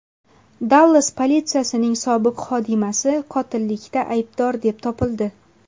Dallas politsiyasining sobiq xodimasi qotillikda aybdor deb topildi.